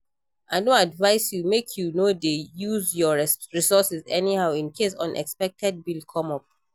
I don advice you make you no dey use your resources anyhow in case unexpected bill come up